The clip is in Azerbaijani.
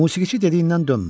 Musiqiçi dediyindən dönmür.